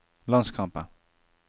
landskampen